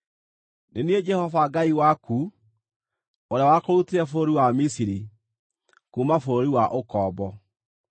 “Nĩ niĩ Jehova Ngai waku, ũrĩa wakũrutire bũrũri wa Misiri, kuuma bũrũri wa ũkombo.